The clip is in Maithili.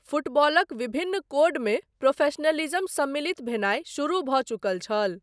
फुटबॉलक विभिन्न कोडमे प्रोफेशनलिज्म सम्मिलित भेनाय शुरू भऽ चुकल छल।